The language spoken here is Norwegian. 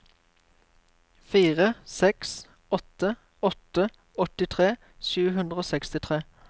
fire seks åtte åtte åttitre sju hundre og sekstitre